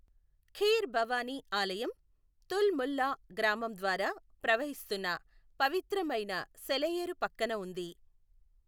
ఖీర్ భవాని ఆలయం తుల్ ముల్లా గ్రామం ద్వారా ప్రవహిస్తున్న పవిత్రమైన సెలఏరు పక్కన ఉంది.